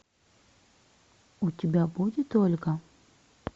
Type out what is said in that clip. у тебя будет ольга